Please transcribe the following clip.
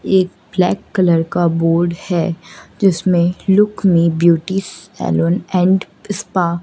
एक black colour का board है जिसमें look me beauty salon and spa --